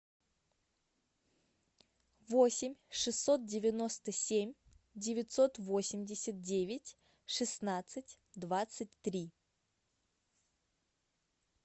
восемь шестьсот девяносто семь девятьсот восемьдесят девять шестнадцать двадцать три